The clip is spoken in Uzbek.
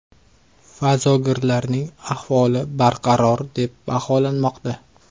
Fazogirlarning ahvoli barqaror deb baholanmoqda.